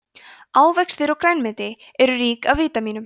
ávextir og grænmeti eru rík af vítamínum